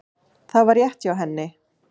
Það var rétt hjá henni.